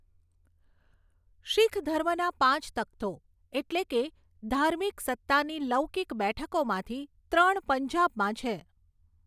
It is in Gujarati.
શીખ ધર્મના પાંચ તખ્તો, એટલે કે ધાર્મિક સત્તાની લૌકિક બેઠકોમાંથી ત્રણ પંજાબમાં છે.